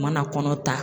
U mana kɔnɔ ta